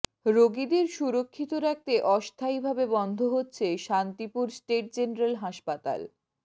রোগীদের সুরক্ষিত রাখতে অস্থায়ীভাবে বন্ধ হচ্ছে শান্তিপুর স্টেট জেনারেল হাসপাতাল